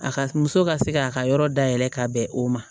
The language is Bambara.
A ka muso ka se k'a ka yɔrɔ dayɛlɛ ka bɛn o ma